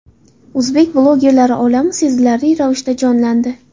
O‘zbek bloggerlari olami sezilarli ravishda jonlandi.